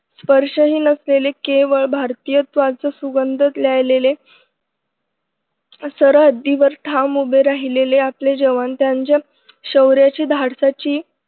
स्पर्शही नसलेलं केवळ भारतीयत्वाचं सुगंध लिहायलेले सरहद्दीवर ठाम उभे राहिलेले आपले जवान त्यांच्या शौर्याची धाडसाची